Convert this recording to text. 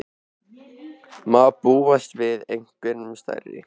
Má búast við einhverjum stærri?